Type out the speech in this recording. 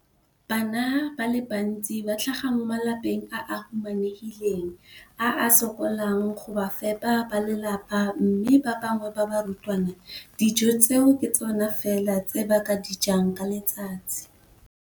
Dijo tsa kwa sekolong dithusa barutwana go ithuta, go reetsa le go tsaya karolo ka fa phaposiborutelong, o tlhalositse jalo.